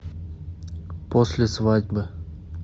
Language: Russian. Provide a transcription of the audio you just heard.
после свадьбы